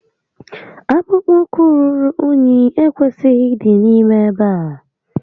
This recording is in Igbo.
Akpụkpọ ụkwu ruru únyí ekwesịghị ịdị n'ime ebe a